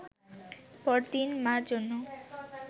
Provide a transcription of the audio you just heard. পরদিন মা’র জন্য